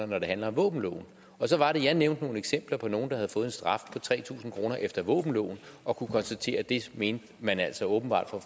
når det handler om våbenloven og så var det jeg nævnte nogle eksempler på nogle der havde fået en straf på tre tusind kroner efter våbenloven og kunne konstatere at det mente man altså åbenbart fra